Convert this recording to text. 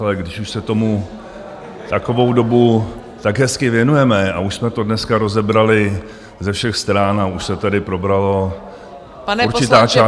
Ale když už se tomu takovou dobu tak hezky věnujeme a už jsme to dneska rozebrali ze všech stran a už se tady probrala určitá část mého podnikání -